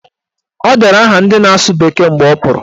O dere aha ndị na-asụ bekee mgbe ọ pụrụ